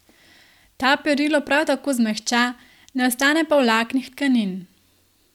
Ta perilo prav tako zmehča, ne ostane pa v vlaknih tkanin.